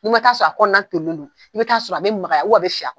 N'i ma taa sɔrɔ, a kɔnɔna tolilen don, i bi taa sɔrɔ a bi magaya a bi